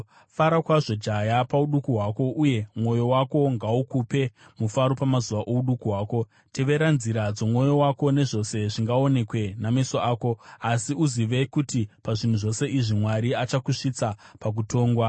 Fara zvako jaya, pauduku hwako, uye mwoyo wako ngaukupe mufaro pamazuva ouduku hwako. Tevera nzira dzomwoyo wako, nezvose zvingaonekwe nameso ako, asi uzive kuti pazvinhu zvose izvi Mwari achakusvitsa pakutongwa.